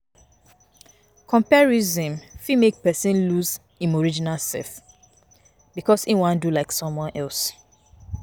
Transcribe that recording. Comparison fit make person lose im original self because im wan do like someone else